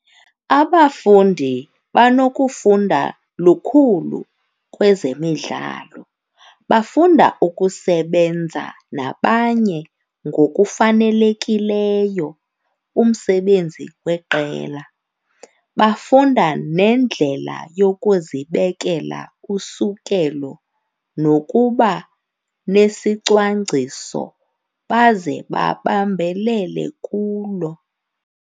Abafundi banokufunda lukhulu kwezemidlalo. Bafunda ukusebenza nabanye ngokufanelekileyo umsebenzi weqela, bafunda nendlela yokuzibekela usukelo nokuba nesicwangciso baze babambelele kulo.